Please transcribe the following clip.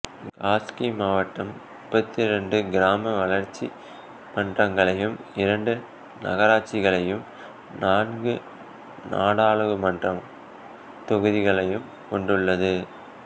காஸ்கி மாவட்டம் முப்பத்தி இரண்டு கிராம வளர்ச்சி மன்றங்களையும் இரண்டு நகராட்சிகளையும் நான்கு நாடாளுமன்ற தொகுதிகளையும் கொண்டுள்ளது